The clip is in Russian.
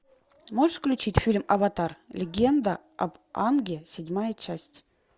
можешь включить фильм аватар легенда об аанге седьмая часть